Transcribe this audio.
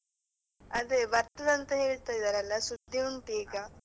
ಅದೇ ಬರ್ತದಂತ ಹೇಳ್ತಾ ಇದಾರಲ್ಲ ಸುದ್ದಿ ಉಂಟು ಈಗ.